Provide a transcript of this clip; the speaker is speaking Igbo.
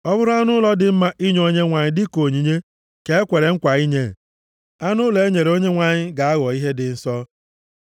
“ ‘Ọ bụrụ anụ ụlọ dị mma inye Onyenwe anyị dịka onyinye ka e kwere nkwa inye, anụ ụlọ e nyere Onyenwe anyị ga-aghọ ihe dị nsọ.